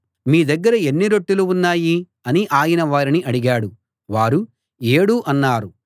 మీ దగ్గర ఎన్ని రొట్టెలు ఉన్నాయి అని ఆయన వారిని అడిగాడు వారు ఏడు అన్నారు